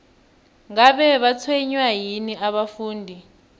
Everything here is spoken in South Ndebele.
ngabe batshwenywa yini abafundi